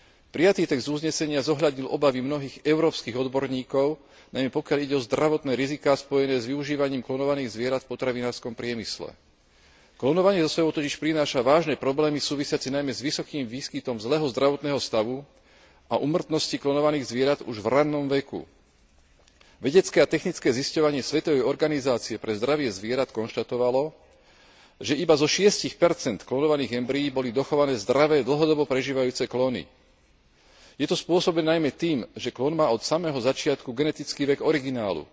Prijatý text uznesenia zohľadnil obavy mnohých európskych odborníkov, najmä pokiaľ ide o zdravotné riziká spojené s využívaním klonovaných zvierat v potravinárskom priemysle. Klonovanie so sebou totiž prináša vážne problémy súvisiace najmä s vysokým výskytom zlého zdravotného stavu a úmrtnosti klonovaných zvierat už v ranom veku. Vedecké a technické zisťovanie Svetovej organizácie pre zdravie zvierat konštatovalo, že iba zo 6 klonovaných embryí boli dochované zdravé dlhodobo prežívajúce klony. Je to spôsobené najmä tým, že klon má od samého začiatku genetický vek originálu.